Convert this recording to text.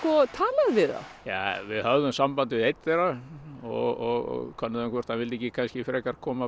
talað við þá ja við höfðum samband við einn þeirra og könnuðum hvort hann vildi ekki frekar koma